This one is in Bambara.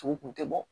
Tugu kun tɛ bɔ